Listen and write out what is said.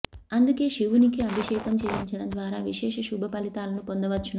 అందుకే శివునికి అభిషేకం చేయించడం ద్వారా విశేష శుభ ఫలితాలను పొందవచ్చును